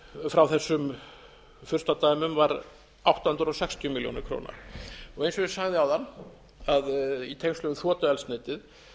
frá þessum furstadæmum var átta hundruð sextíu milljónir króna eins og ég sagði áðan að í tengslum við